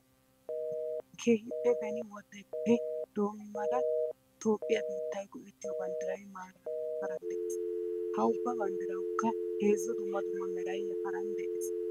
Keehippe beni wodeppe doomadda toophiya biittiay goettiyo banddiray marara yafaran de'ees. Ha ubba banddirawukka heezzu dumma dumma meray yafarn de'eea.